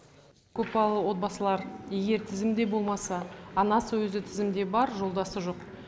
көпбалалы отбасылар егер тізімде болмаса анасы өзі тізімде бар жолдасы жоқ